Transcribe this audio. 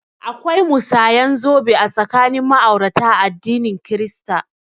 Akwai musanyan zobe tsakanin ma'aurata a addinin kirista